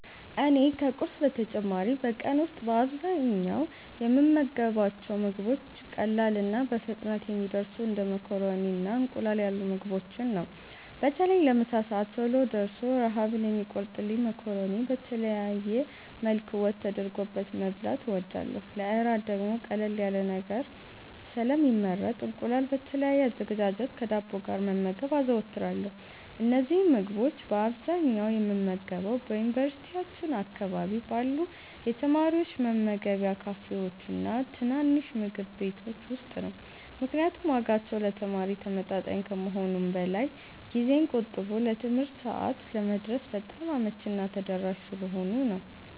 እኔ ከቁርስ በተጨማሪ በቀን ውስጥ በአብዛኛው የምመገባቸው ምግቦች ቀላልና በፍጥነት የሚደርሱ እንደ ማካሮኒና እንቁላል ያሉ ምግቦችን ነው። በተለይ ለምሳ ሰዓት ቶሎ ደርሶ ረሃብን የሚቆርጥልኝን ማካሮኒ በተለያየ መልክ ወጥ ተደርጎበት መብላት እወዳለሁ። ለእራት ደግሞ ቀለል ያለ ነገር ስለሚመረጥ እንቁላል በተለያየ አዘገጃጀት ከዳቦ ጋር መመገብ አዘወትራለሁ። እነዚህን ምግቦች በአብዛኛው የምመገበው በዩኒቨርሲቲያችን አካባቢ ባሉ የተማሪዎች መመገቢያ ካፌዎችና ትናንሽ ምግብ ቤቶች ውስጥ ነው፤ ምክንያቱም ዋጋቸው ለተማሪ ተመጣጣኝ ከመሆኑም በላይ ጊዜን ቆጥቦ ለትምህርት ሰዓት ለመድረስ በጣም አመቺና ተደራሽ ስለሆኑ ነው።